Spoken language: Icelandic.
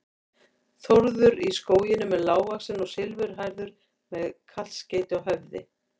Þórður í Skógum er lágvaxinn og silfurhærður með kaskeiti á höfði.